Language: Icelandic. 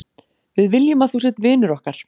Við viljum að þú sért vinur okkar.